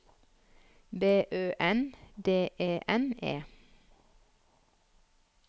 B Ø N D E N E